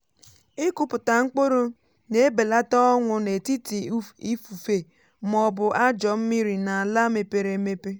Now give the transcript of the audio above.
ịkụpụta mkpụrụ na-ebelata ọnwụ n’etiti ifufe ma ọ bụ ajọ mmiri n’ala mepere emepe.